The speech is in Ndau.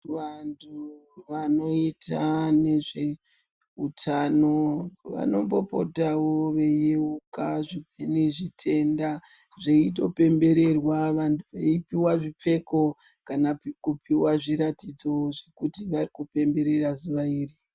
Vantu vanoita nezveutano vanombopotawo veiyeuka zvimweni zvitenda zveito pembererwa. Vanhu veipiwa zvipfeko kana kupiwa zviratidzo zvekuti variku pemberera zuva iri.